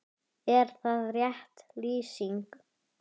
Jónasar frá Hriflu.